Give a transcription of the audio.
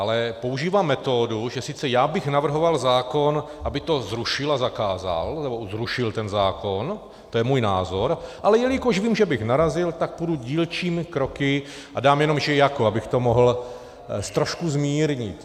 Ale používá metodu, že sice já bych navrhoval zákon, aby to zrušil a zakázal, nebo zrušil ten zákon, to je můj názor, ale jelikož vím, že bych narazil, tak půjdu dílčími kroky a dám jenom že jako, abych to mohl trošku zmírnit.